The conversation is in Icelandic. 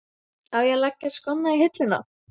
Á að leggja skónna á hilluna?